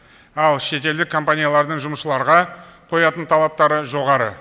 ал шетелдік компаниялардың жұмысшыларға қоятын талаптары жоғары